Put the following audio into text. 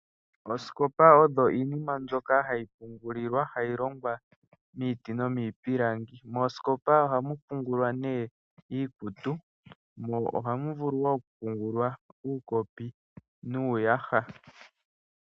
Oosikopa odho iinima mbyoka hayi pungulilwa, hayi longwa miiti nomiipilangi. Moosikopa ohamu pungulwa nee iikutu, mo ohamu vulu wo oku pungulwa uukopi nuuyaha.